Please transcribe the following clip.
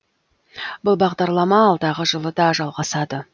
бұл бағдарлама алдағы жылы да жалғасады